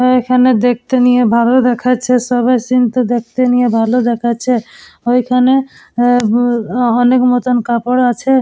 অ-অ এখানে দেখতে নিয়ে ভালো দেখাচ্ছে সবার সিন টা দেখতে নিয়ে ভালো দেখাচ্ছে ঐখানে এ-এ অ অনেক মতন কাপড় আছে।